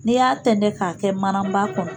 N'i y'a tɛntɛn k'a kɛ manaba kɔnɔ